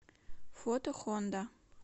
фото хонда